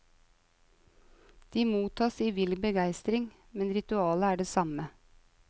De mottas i vill begestring, men ritualet er det samme.